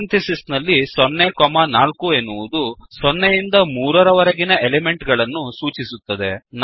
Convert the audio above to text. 0 4 ಎನ್ನುವುದು 0 ಯಿಂದ 3 ರವರೆಗಿನ ಎಲಿಮೆಂಟ್ ಗಳನ್ನು ಸೂಚಿಸುತ್ತದೆ